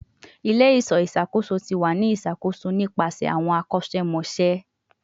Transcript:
Ile-iṣọ iṣakoso ti wa ni iṣakoso nipasẹ awọn akosemose